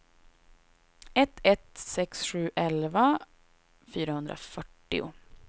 ett ett sex sju elva fyrahundrafyrtio